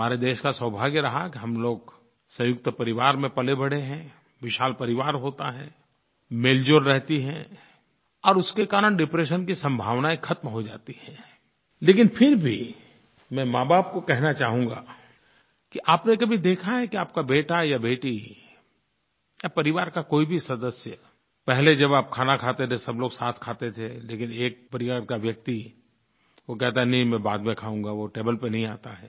हमारे देश का सौभाग्य रहा कि हम लोग संयुक्त परिवार में पलेबढ़े हैं विशाल परिवार होता है मेलजोल रहता है और उसके कारण डिप्रेशन की संभावनायें ख़त्म हो जाती हैं लेकिन फिर भी मैं माँबाप को कहना चाहूँगा कि आपने कभी देखा है कि आपका बेटा या बेटी या परिवार का कोई भी सदस्य पहले जब आप खाना खाते थे सब लोग साथ खाते थे लेकिन एक परिवार का व्यक्ति वो कहता है नहीं मैं बाद में खाऊंगा वो टेबल पर नहीं आता है